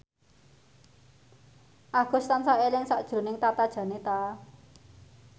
Agus tansah eling sakjroning Tata Janeta